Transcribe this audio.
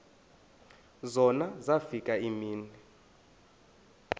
zona zafika iimini